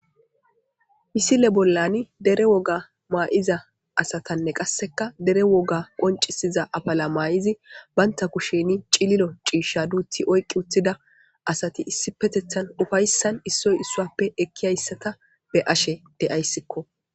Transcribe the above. Misile bollani dere woga ma7iza asatanne qassekka dere woga qoncisiza afala maa7izi bantta kusheni cililo ciishsha duuthi oyqqi wothida asati issipetethan ufayssan issoy issuwappe ekkiyayssata be7ashe deyayssikko.